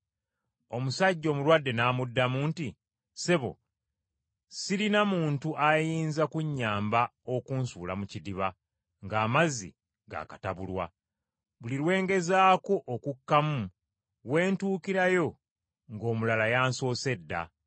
Omusajja omulwadde n’amuddamu nti, “Ssebo sirina muntu ayinza kunnyamba okunsuula mu kidiba ng’amazzi gaakatabulwa. Buli lwe ngezaako okukkamu we ntukirayo ng’omulala yansoose dda.”